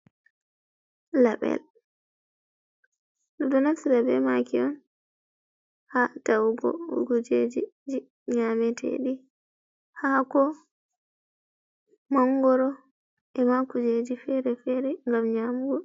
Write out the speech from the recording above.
Label bedo naftira be maki on ha tawugo kujej ji nyametedi hako mangoro e ma kujeji fere fere gam nyamugo.